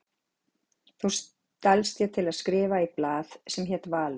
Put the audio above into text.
Þá stalst ég til að skrifa í blað sem hét Valur.